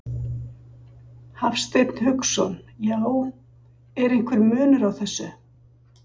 Hafsteinn Hauksson: Já, er einhver munur á þessu?